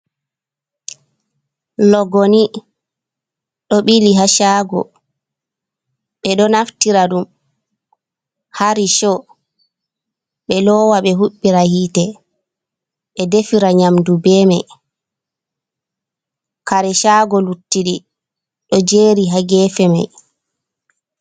Logoni do bilihashgo be do naftira dum harisho, be lowa be hubira hite be defira nyamdu be mai kareshago luttidi do jeri hagefe mai.